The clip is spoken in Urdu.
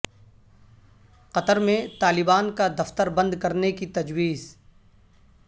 قطر میں طالبان کا دفتر بند کرنے کی تجویز